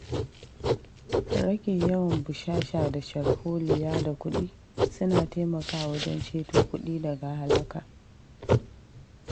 Rage yawan bushasha da sharholiya da kuɗi suna taimakawa wajen ceto kuɗi daga halaka.